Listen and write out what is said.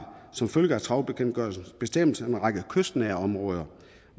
som følge af trawlbekendtgørelsens bestemmelser en række kystnære områder